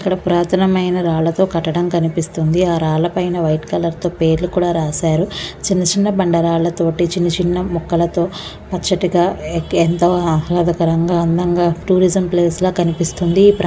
అక్కడ పురాతనమైన రాళ్ళతో కట్టడం కనిపిస్తుంది ఆ రాళ్ళ పైన వైట్ కలర్ తో పేర్లు కూడా రాసారు చిన్న చిన్న బండరాల్లతోటి చిన్న చిన్న మొక్కలతో పచ్చటిగా ఏంటో ఆహ్లాదకరంగా అందంగా టూరిజమ్ ప్లేస్ లా కనిపిస్తుంది.